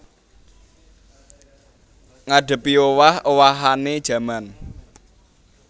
Ngadhepiowah owahané jaman